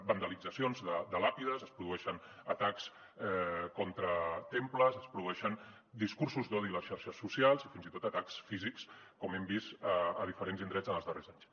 vandalitzacions de làpides es produeixen atacs contra temples es produeixen discursos d’odi a les xarxes socials i fins i tot atacs físics com hem vist a diferents indrets en els darrers anys